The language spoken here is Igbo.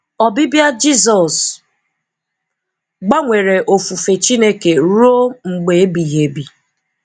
Ọbịbịa Jizọs gbanwere ofufe Chineke ruo mgbe ebighị ebi.